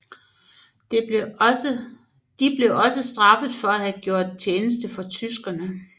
De blev også straffet for at have gjort tjeneste for tyskerne